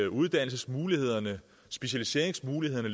uddannelsesmulighederne specialiseringsmulighederne